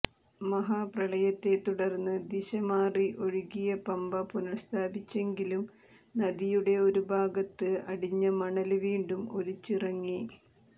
മഹാപ്രളയത്തെത്തുടര്ന്ന് ദിശമാറി ഒഴുകിയ പമ്പ പുനഃസ്ഥാപിച്ചെങ്കിലും നദിയുടെ ഒരു ഭാഗത്ത് അടിഞ്ഞ മണല് വീണ്ടും ഒലിച്ചിറങ്ങി